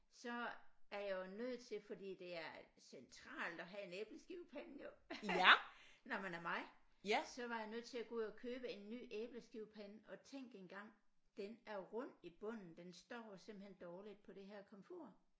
Så er jeg jo nødt til fordi det er centralt at have en æbleskivepande jo når man er mig så var jeg nødt til at gå ud og købe en ny æbleskivepande og tænk engang den er rund i bunden den står simpelthen dårligt på det her komfur